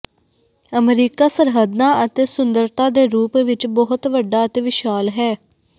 America ਸਰਹੱਦਾਂ ਅਤੇ ਸੁੰਦਰਤਾ ਦੇ ਰੂਪ ਵਿਚ ਬਹੁਤ ਵੱਡਾ ਅਤੇ ਵਿਸ਼ਾਲ ਹੈ